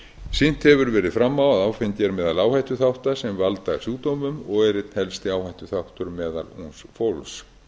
sýnt hefur verið fram á að áfengi er meðal áhættuþátta sem valda sjúkdómum og er einn helsti áhættuþáttur meðal ungs fólks